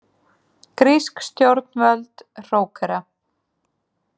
Grísk stjórnvöld hrókera